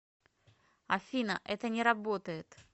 афина это не работает